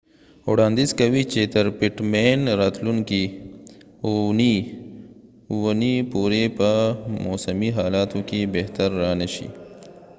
پټ مین pittman وړانديز کوي چې تر راتلونکې اوونی پورې به موسمی حالاتو کې بهتری را نشي